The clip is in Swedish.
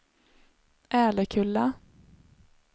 Älekulla